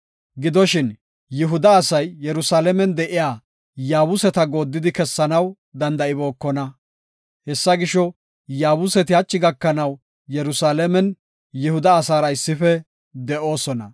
Gidoshin, Yihuda asay Yerusalaamen de7iya Yaabuseta gooddidi kessanaw danda7ibookona. Hessa gisho, Yaabuseti hachi gakanaw Yerusalaamen Yihuda asaara issife de7oosona.